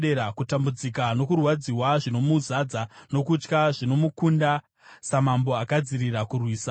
Kutambudzika nokurwadziwa zvinomuzadza nokutya; zvinomukunda, samambo agadzirira kurwisa,